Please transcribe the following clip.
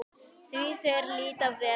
Því þeir líta vel út?